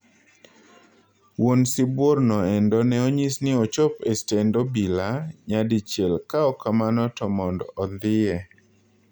Wuon sibuor no endo ne onyis ni ochop estend obila nyadichiel ka ok kamano to mond ondhiye